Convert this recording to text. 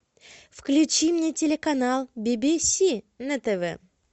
включи мне телеканал би би си на тв